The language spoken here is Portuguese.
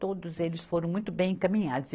Todos eles foram muito bem encaminhados.